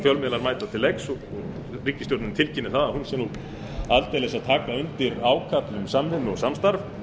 fjölmiðlar mæta til leiks og ríkisstjórnin tilkynnir að hún sé aldeilis að taka undir ágalla um samvinnu og samstarf en